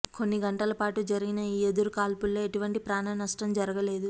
కొన్ని గంటల పాటు జరిగిన ఈ ఎదురు కాల్పుల్లో ఎటువంటి ప్రాణ నష్టం జరగలేదు